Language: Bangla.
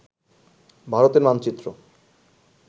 ভারতের মানচিত্র